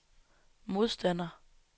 modstander